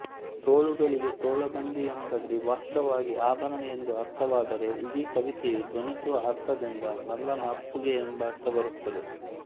ತೋಳುಗಳಿಗೆ ತೋಳಬಂದಿ ಎಂಬಲ್ಲಿ ವಾಚ್ಯವಾಗಿ ಆಭರಣ ಎಂದು ಅರ್ಥವಾದರೆ ಇಡೀ ಕವಿತೆಯು ಧ್ವನಿಸುವ ಅರ್ಥದಿಂದ ನಲ್ಲನ ಅಪ್ಪುಗೆ ಎಂಬರ್ಥ ಬರುತ್ತದೆ